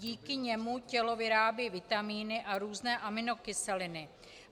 Díky němu tělo vyrábí vitamíny a různé aminokyseliny.